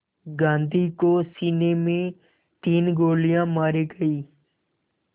गांधी को सीने में तीन गोलियां मारी गईं